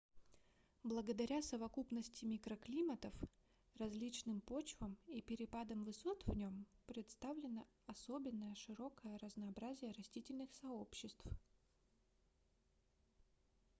благодаря совокупности микроклиматов различным почвам и перепадам высот в нем представлено особенно широкое разнообразие растительных сообществ